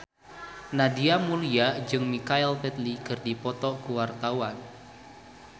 Nadia Mulya jeung Michael Flatley keur dipoto ku wartawan